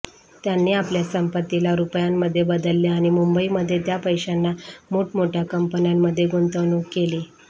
त्यांनी आपल्या संपत्तीला रुपयांमध्ये बदलले आणि मुंबईमध्ये त्या पैशांना मोठमोठ्या कंपन्यांमध्ये गुंतवणूक केली